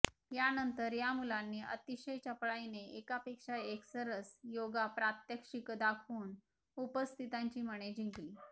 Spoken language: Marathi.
यानंतर या मुलांनी अतिशय चपळाईने एकापेक्षा एक सरस योगा प्रात्यक्षिकं दाखवून उपस्थितांची मने जिंकली